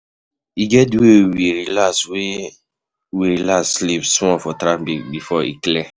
E get di day wey we relax wey we relax sleep small for traffic before e clear.